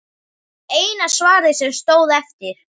Eina svarið sem stóð eftir.